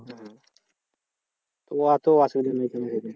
হম অত অসুবিধা নেই।